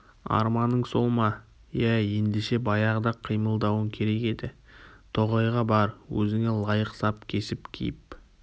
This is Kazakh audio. арманың сол ма иә еңдеше баяғыда-ақ қимылдауың керек еді тоғайға бар өзіңе лайық сап кесіп киіп